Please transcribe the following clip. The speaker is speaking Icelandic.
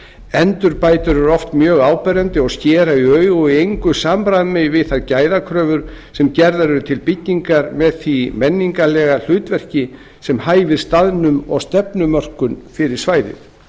endurbætur eru oft mjög áberandi og skera í augu og eru í engu samræmi við þær gæðakröfur sem gerðar eru til byggingar með því menningarlega hlutverki sem hæfir staðnum og stefnumörkun fyrir svæðið